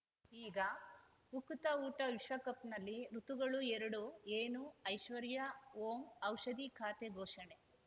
ಈಗ ಉಕುತ ಊಟ ವಿಶ್ವಕಪ್‌ನಲ್ಲಿ ಋತುಗಳು ಎರಡು ಏನು ಐಶ್ವರ್ಯಾ ಓಂ ಔಷಧಿ ಖಾತೆ ಘೋಷಣೆ